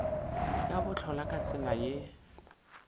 ya bohlola ka tsela ye